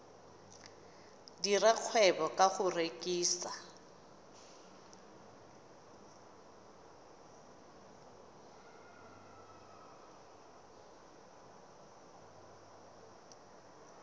dira kgwebo ka go rekisa